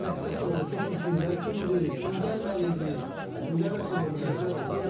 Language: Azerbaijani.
Məqsəd də odur ki, o sürprizlər kimdir, kim gəlməli idi, kim dəvət olunmalıdır, özlər oldu.